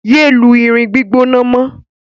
Yéé lu irin gbígbóná mọ́!